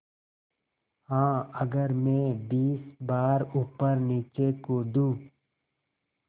हाँ अगर मैं बीस बार ऊपरनीचे कूदूँ